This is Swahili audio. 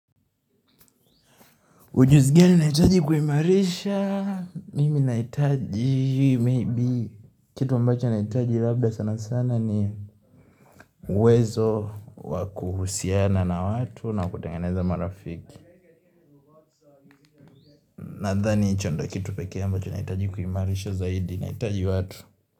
Ujuzi gani nahitaji kuimarisha, mimi nahitaji, maybe, kitu ambacho nahitaji labda sana sana ni uwezo wa kuhusiana na watu na kutengeneza marafiki. Nadhani, hicho ndo kitu peke ambacho nahitaji kuimarisha zaidi, nahitaji watu.